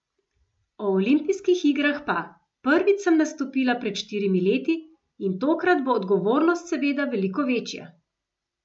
O olimpijskih igrah pa: "Prvič sem nastopila pred štirimi leti in tokrat bo odgovornost seveda veliko večja.